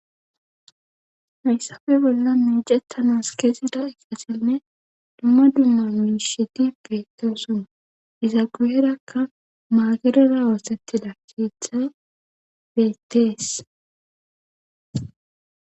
hayssafe bolla miicettanas keezida laxanne dumma dumma miishiti beettosuna iza guyerakka maagerara oossettida keethay beettees